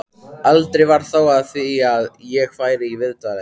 Aldrei varð þó af því að ég færi í viðtalið.